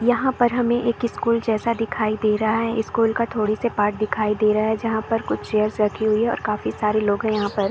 यहाँ पर हमें एक स्कूल जैसा दिखाई दे रहा है स्कूल का थोड़ी से पार्ट दिखाई दे रहा है जहाँ पर कुछ चेयर्स रखी हुई है और काफी सारे लोग है यहाँ पर।